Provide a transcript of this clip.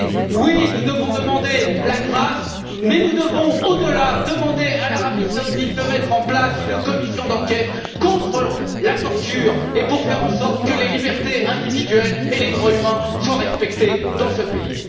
Oui, nous devons demander la grâce mais nous devons, au delà, demander à l'Arabie saoudite de mettre en place une commission d'enquête contre la torture pour faire en sorte que les libertés individuelles et les droits humains soient respectés dans ce pays.